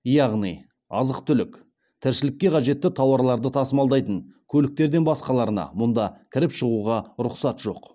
яғни азық түлік тіршілікке қажетті тауарларды тасымалдайтын көліктерден басқаларына мұнда кіріп шығуға рұқсат жоқ